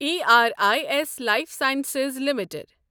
E R I S life sciences limited